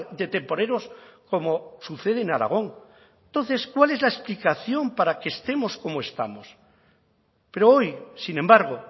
de temporeros como sucede en aragón entonces cuál es la explicación para que estemos como estamos pero hoy sin embargo